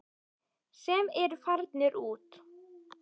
Sem eru farnir út.